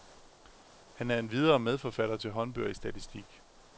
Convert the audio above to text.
Han er endvidere medforfatter til håndbøger i statistik.